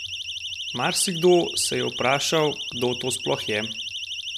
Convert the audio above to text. Marsikdo se je vprašal, kdo to sploh je?